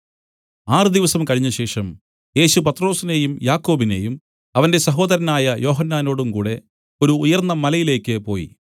ആറ് ദിവസം കഴിഞ്ഞശേഷം യേശു പത്രൊസിനെയും യാക്കോബിനെയും അവന്റെ സഹോദരനായ യോഹന്നാനോടും കൂടെ ഒരു ഉയർന്ന മലയിലേക്ക് പോയി